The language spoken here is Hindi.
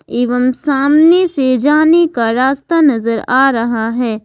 एवं सामने से जाने का रास्ता नजर आ रहा है।